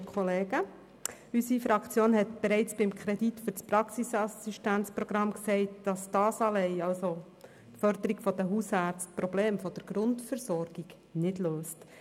Unsere Fraktion hat bereits beim Kredit für das Praxisassistenzprogramm gesagt, dass die Förderung der Hausärzte allein die Probleme der Grundversorgung nicht löst.